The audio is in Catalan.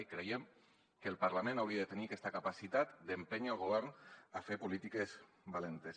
i creiem que el parlament hauria de tenir aquesta capacitat d’empènyer el govern a fer polítiques valentes